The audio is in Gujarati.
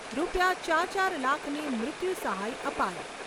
ચાર ચાર લાખની મૃત્યુ સહાય અપાઈ.